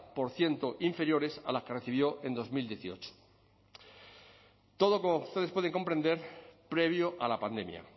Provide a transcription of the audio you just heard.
por ciento inferiores a las que recibió en dos mil dieciocho todo como ustedes pueden comprender previo a la pandemia